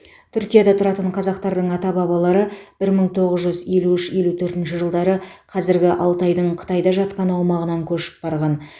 түркияда тұратын қазақтардың ата бабалары бір мың тоғыз жүз елу үш елу төртінші жылдары қазіргі алтайдың қытайда жатқан аумағынан көшіп барған